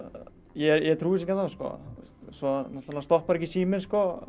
ég trúi þessu ekki ennþá svo náttúrulega stoppar ekki síminn